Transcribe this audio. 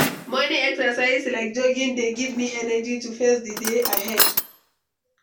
Morning exercise like jogging dey give me energy to face di day ahead.